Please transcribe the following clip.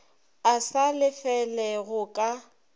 a sa lefele go ka